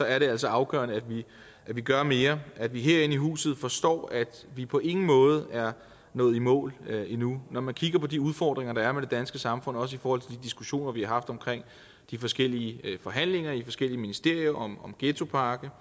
er det altså afgørende at vi gør mere at vi herinde i huset forstår at vi på ingen måde er nået i mål endnu når man kigger på de udfordringer der er i det danske samfund også i forhold til diskussionerne omkring de forskellige forhandlinger i forskellige ministerier om ghettopakke